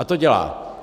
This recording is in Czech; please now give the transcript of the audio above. A to dělá.